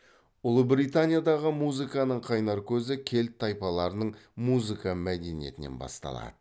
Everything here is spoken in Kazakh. ұлыбританиядағы музыканың қайнар көзі кельт тайпаларының музыка мәдениетінен басталады